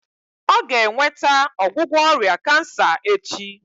Ọ ga-enweta ọgwụgwọ ọrịa kansa echi